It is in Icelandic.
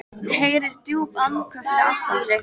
Heyrir djúp andköf fyrir aftan sig.